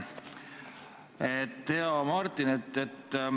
Hea Martin!